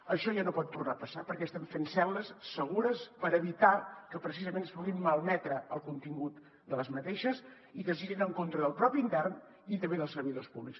això ja no pot tornar a passar perquè estem fent cel·les segures per evitar que precisament es pugui malmetre el contingut d’aquestes i que es girin en contra del propi intern i també dels servidors públics